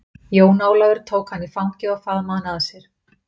Jón Ólafur tóka hana í fangið og faðmaði hana að sér.